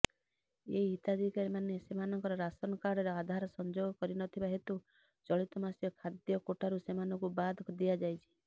ଏହି ହିତାଧିକାରୀମାନେ ସେମାନଙ୍କ ରାସନକାର୍ଡରେ ଆଧାର ସଂଯୋଗ କରିନଥିବା ହେତୁ ଚଳିତମାସ ଖାଦ୍ୟ କୋଟାରୁ ସେମାନଙ୍କୁ ବାଦ ଦିଆଯାଇଛି